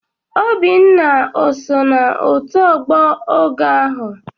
Obinna oso na otu ogboa ogoo ahu?